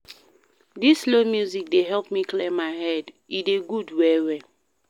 Dis slow music dey help me clear my head, e dey good well-well.